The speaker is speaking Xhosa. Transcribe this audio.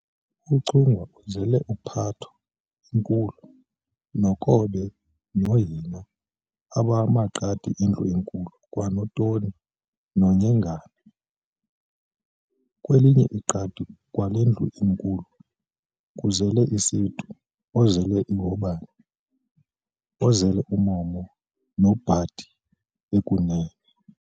UChungwa uzele uPhatho inkulu, noKobe noHina abamaqadi endlu enkulu kwanoToni noNyengana. Kwelinye iqadi kwale ndlu enkulu kuzelwe uSitu, ozele uHobeni, ozele uMomo, noBhadi ekunene.